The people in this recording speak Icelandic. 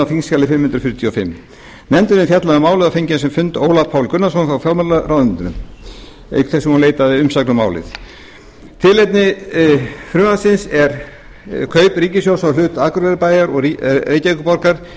þingskjali fimm hundruð fjörutíu og fimm nefndin hefur fjallað um málið og fengið á sinn fund ólaf pál gunnarsson frá fjármálaráðuneyti auk þess sem hún leitaði umsagna um málið tilefni frumvarpsins er kaup ríkissjóðs á hlut akureyrarbæjar og reykjavíkurborgar